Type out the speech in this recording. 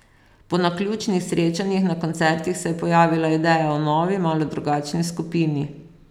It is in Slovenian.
Po naključnih srečanjih na koncertih se je pojavila ideja o novi, malo drugačni skupini.